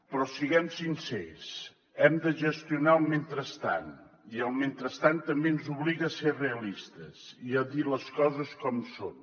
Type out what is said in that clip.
però siguem sincers hem de gestionar el mentrestant i el mentrestant també ens obliga a ser realistes i a dir les coses com són